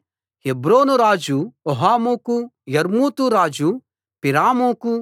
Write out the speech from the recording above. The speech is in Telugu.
హెబ్రోను రాజు హోహాముకూ యర్మూతు రాజు పిరాముకూ